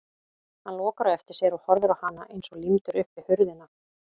Hann lokar á eftir sér og horfir á hana eins og límdur upp við hurðina.